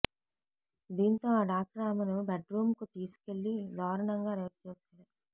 దీంతో ఆ డాక్టర్ ఆమెను బెడ్రూంకు తీసుకెళ్లి దారుణంగా రేప్ చేశాడు